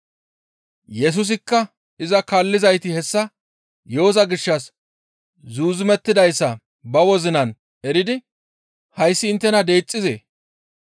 Yesusikka iza kaallizayti hessa yo7oza gishshas zuuzumettidayssa ba wozinan eridi, «Hayssi inttena deexxizee?